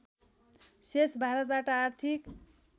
शेष भारतबाट आर्थिक